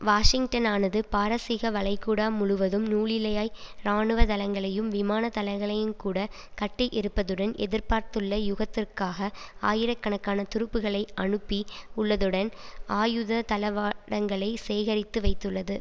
வாஷிங்டனானது பாரசீகவளைகுடா முழுவதும் நூலிழையாய் இராணுவ தளங்களையும் விமான தளங்களையுங்கூட கட்டி இருப்பதுடன் எதிர்பார்த்துள்ள யுதத்திற்காக ஆயிரக்கணக்கான துருப்புக்களை அனுப்பி உள்ளதுடன் ஆயுத தளவாடங்களை சேகரித்து வைத்துள்ளது